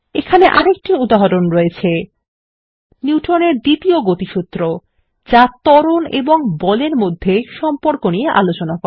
এখানে আরেকটি উদাহরণ রয়েছে 160 নিউটনের দ্বিতীয় গতিসূত্র যা ত্বরণ এবং বলের মধ্যে সম্পর্ক নিয়ে আলোচনা করে